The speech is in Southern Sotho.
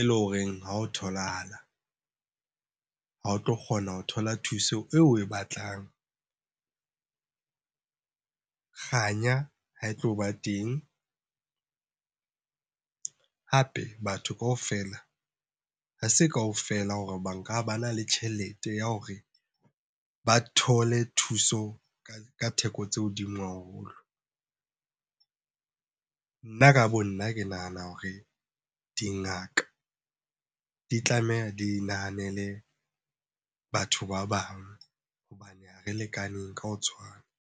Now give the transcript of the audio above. E leng horeng ha o tholahala, ha o tlo kgona ho thola thuso eo oe batlang. Kganya ha e tlo ba teng, hape batho kaofela ha se kaofela hore ba nka bana le tjhelete ya hore ba thole thuso ka theko tse hodimo haholo. Nna ka bo nna, ke nahana hore dingaka di tlameha di nahanele batho ba bang hobane ha re lekaneng ka ho tshwana.